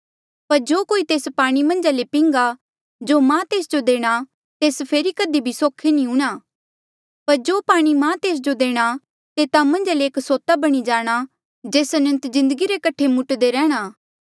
पर जो कोई तेस पाणी मन्झा ले पिंघा जो मां तेस जो देणा तेस फेरी कधी भी सोखे नी हूंणां पर जो पाणी मां तेस जो देणा तेस तेता मन्झ एक सोता बणी जाणा जेस अनंत जिन्दगी रे कठे मुट्दे रैंह्णां